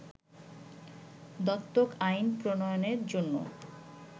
দত্তক আইন প্রণয়নের জন্য